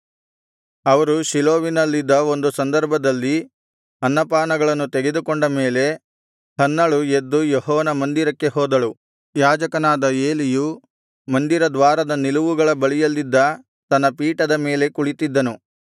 ಅವರು ಶೀಲೋವಿನಲ್ಲಿದ್ದ ಒಂದು ಸಂದರ್ಭದಲ್ಲಿ ಅನ್ನಪಾನಗಳನ್ನು ತೆಗೆದುಕೊಂಡ ಮೇಲೆ ಹನ್ನಳು ಎದ್ದು ಯೆಹೋವನ ಮಂದಿರಕ್ಕೆ ಹೋದಳು ಯಾಜಕನಾದ ಏಲಿಯು ಮಂದಿರದ್ವಾರದ ನಿಲುವುಗಳ ಬಳಿಯಲ್ಲಿದ್ದ ತನ್ನ ಪೀಠದ ಮೇಲೆ ಕುಳಿತ್ತಿದ್ದನು